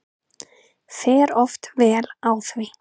Fer oft vel á því.